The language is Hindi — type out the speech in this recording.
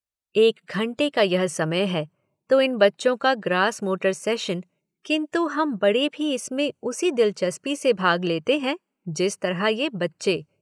एक घंटे का यह समय है तो इन बच्चों का ग्रास मोटर सेशन किन्तु हम बड़े भी इसमें उसी दिलचस्पी से भाग लेतें हैं जिस तरह ये बच्चे।